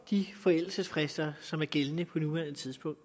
de forældelsesfrister som er gældende på nuværende tidspunkt